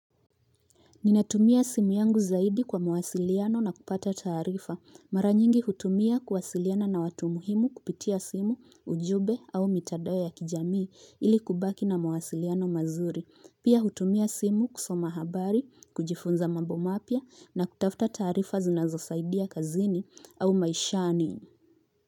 Ninatumia simu yangu zaidi kwa mwasiliano na kupata tarifa. Mara nyingi hutumia kuwasiliana na watu muhimu kupitia simu ujumbe au mitandao ya kijamii ili kubaki na mwasiliano mazuri. Pia hutumia simu kusoma habari, kujifunza mambo mapya na kutafuta tarifa zinazosaidia kazini au maishani.